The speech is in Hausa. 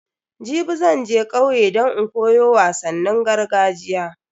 Jibi zan je kauye don in koyo wasannin gargajiya.